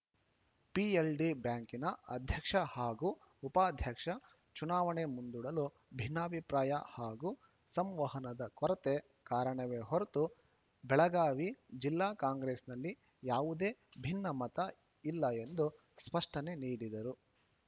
PLD ಬ್ಯಾಂಕಿನ ಅಧ್ಯಕ್ಷ ಹಾಗೂ ಉಪಾಧ್ಯಕ್ಷ ಚುನಾವಣೆ ಮುಂದೂಡಲು ಭಿನ್ನಾಭಿಪ್ರಾಯ ಹಾಗೂ ಸಂವಹನದ ಕೊರತೆ ಕಾರಣವೇ ಹೊರತು ಬೆಳಗಾವಿ ಜಿಲ್ಲಾ ಕಾಂಗ್ರೆಸ್‌ನಲ್ಲಿ ಯಾವುದೇ ಭಿನ್ನಮತ ಇಲ್ಲ ಎಂದು ಸ್ಪಷ್ಟನೆ ನೀಡಿದರು